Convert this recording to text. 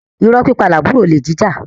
Irọ́ pípa làbúrò olè jíjà